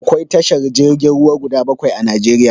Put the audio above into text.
Akwai tashar jirgin ruwa guda bakwai a Najeriya.